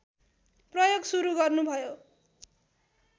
प्रयोग सुरु गर्नुभयो